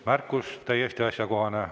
Märkus on täiesti asjakohane.